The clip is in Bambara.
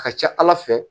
A ka ca ala fɛ